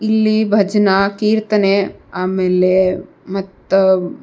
ಇಲ್ಲಿ ಭಜನ ಕೀರ್ತನೆ ಆಮೇಲೆ ಮತ್ತ --